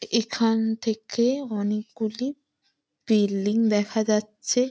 এ এখানথেকে অনেকগুলি বিল্ডিং দেখা যাচ্ছে ।